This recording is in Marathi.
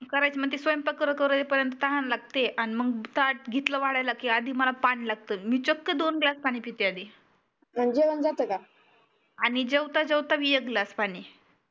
स्वयंपाक कर करे पर्यन्त तहान लागते मगब ताट घेतल वाढायला की आधी मला पानी लागत मी चक्क दोनग्लास पानी पिते आधी आणि जेवत जेवत बी एक ग्लास पानी